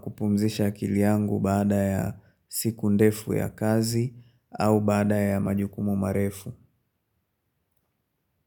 kupumzisha akili yangu baada ya siku ndefu ya kazi au baada ya majukumu marefu.